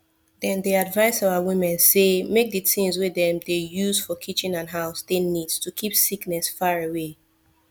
dem dey advise our women say make the things wey dem dey use for kitchen and house dey neat to keep sickness far away